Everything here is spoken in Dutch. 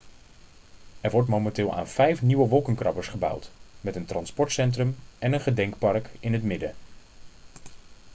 er wordt momenteel aan vijf nieuwe wolkenkrabbers gebouwd met een transportcentrum en een gedenkpark in het midden